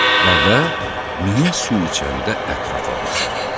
Dəvə, niyə su içəndə ətrafa baxır?